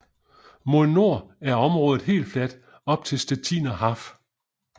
Mod nord er området helt fladt op til Stettiner Haff